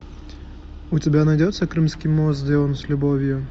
у тебя найдется крымский мост сделан с любовью